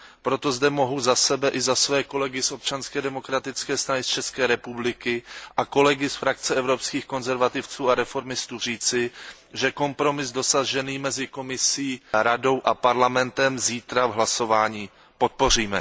Proto zde mohu za sebe i za své kolegy z Občanské demokratické strany z České republiky a kolegy ze skupiny Evropských konzervativců a reformistů říci, že kompromis dosažený mezi Komisí, Radou a Parlamentem zítra v hlasování podpoříme.